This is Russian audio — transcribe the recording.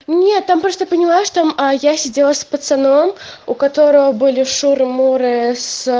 нет там просто поняла что а я сидела с пацаном у которого были шуры-муры с